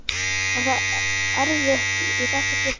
Var það erfitt í þetta skiptið?